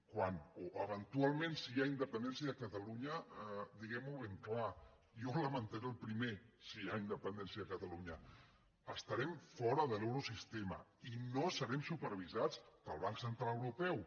o eventualment si hi ha independència a catalunya diguem ho ben clar jo ho lamentaré el primer si hi ha independència a catalunya estarem fora de l’eurosistema i no serem supervisats pel banc central europeu